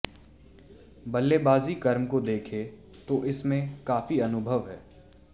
बल्लेबाजी क्रम को देखें तो इसमें काफी अनुभव है